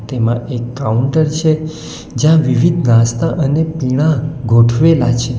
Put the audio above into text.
એમાં એક કાઉન્ટર છે જ્યાં વિવિધ નાસ્તા અને પીણાં ગોઠવેલા છે.